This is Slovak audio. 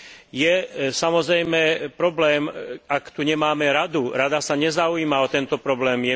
Je, samozrejme, problém, ak tu nemáme Radu. Rada sa nezaujíma o tento problém.